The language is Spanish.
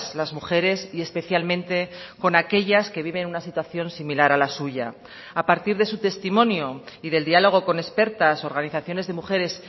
las mujeres y especialmente con aquellas que viven una situación similar a la suya a partir de su testimonio y del diálogo con expertas organizaciones de mujeres